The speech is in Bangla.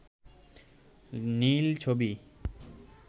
নীল ছবি